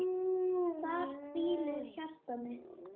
Þar hvílir hjarta mitt.